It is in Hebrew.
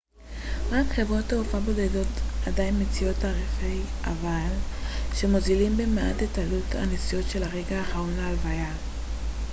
רק חברות תעופה בודדות עדיין מציעות תעריפי אבל שמוזילים במעט את עלות הנסיעות של הרגע האחרון להלוויה